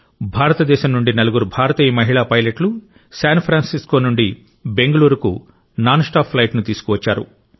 భారతదేశం నుండి నలుగురు భారతీయ మహిళా పైలట్లు శాన్ ఫ్రాన్సిస్కో నుండి బెంగళూరుకు నాన్ స్టాప్ ఫ్లైట్ ను తీసుకువచ్చారు